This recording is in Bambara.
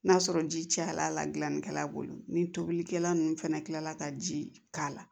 N'a sɔrɔ ji cayala a la gilannikɛla bolo ni tobilikɛla nunnu fɛnɛ kila la ka ji k'a la